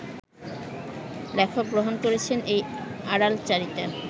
লেখক গ্রহণ করেছেন এই আড়ালচারিতা